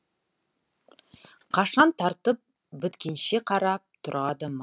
қашан тартып біткенше қарап тұрады